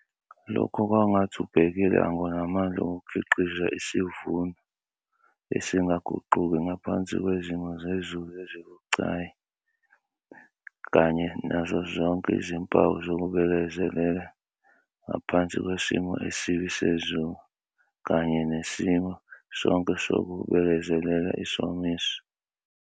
Lokhu kwangathi ubhekilanga unamandla okukhiqiza isivuno esingaguquki ngaphansi kwezimo zezulu ezibucayi kanye nazo zonke izimpawu zokubekezela ngaphansi kwesimo esibi sezulu kanye nesimo sonke sokubekezelela isomiso.